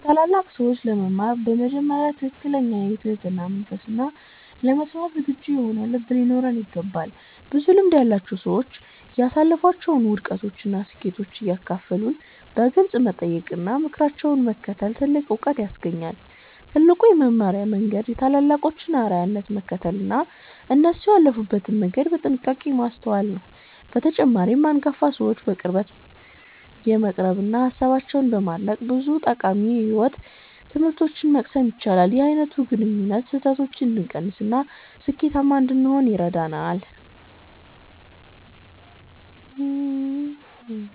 ከታላላቅ ሰዎች ለመማር በመጀመሪያ ትክክለኛ የትህትና መንፈስና ለመስማት ዝግጁ የሆነ ልብ ሊኖረን ይገባል። ብዙ ልምድ ያላቸው ሰዎች ያሳለፏቸውን ውድቀቶችና ስኬቶች እንዲያካፍሉን በግልጽ መጠየቅና ምክራቸውን መከተል ትልቅ ዕውቀት ያስገኛል። ትልቁ የመማሪያ መንገድ የታላላቆችን አርአያነት መከተልና እነሱ ያለፉበትን መንገድ በጥንቃቄ ማስተዋል ነው። በተጨማሪም፣ አንጋፋ ሰዎችን በቅርበት በመቅረብና ሃሳባቸውን በማድነቅ ብዙ ጠቃሚ የሕይወት ትምህርቶችን መቅሰም ይቻላል። ይህ አይነቱ ግንኙነት ስህተቶችን እንድንቀንስና ስኬታማ እንድንሆን ይረዳናል።